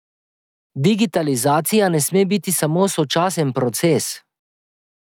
Digitalizacija ne sme biti samo sočasen proces.